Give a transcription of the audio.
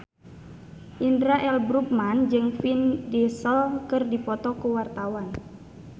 Indra L. Bruggman jeung Vin Diesel keur dipoto ku wartawan